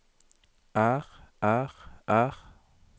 er er er